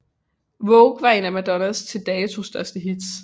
Vogue var et af Madonnas til dato største hits